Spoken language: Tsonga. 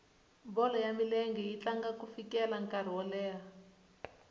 bolo ya milenge yi tlanga ku fikela nkarhi wo karhi